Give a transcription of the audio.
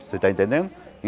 Você está entendendo?